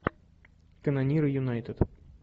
канониры юнайтед